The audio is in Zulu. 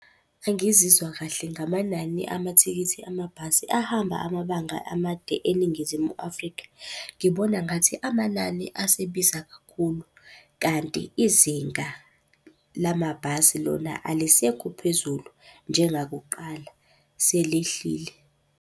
Angizizwa kahle ngamanani amathikithi amabhasi ahamba amabanga amade eNingizimu Afrika. Ngibona ngathi amanani asebiza kakhulu, kanti izinga lamabhasi lona alisekho phezulu njengakuqala, selehlile.